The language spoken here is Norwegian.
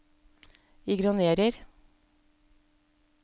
ignorer